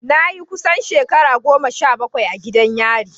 Na yi kusan shekara goma sha bakwai a gidan yari.